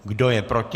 Kdo je proti?